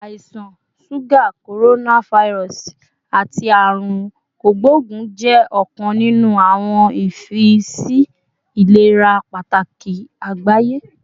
Àisan suga, coronavirus, ati Aarun Kogbogun jẹ ọkan ninu awọn ifiyesi ilera pataki agbaye